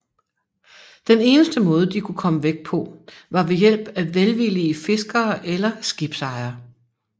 Den eneste måde de kunne komme væk på var ved hjælp af velvillige fiskere eller skibsejere